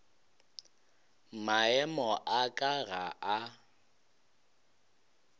maemo a ka ga a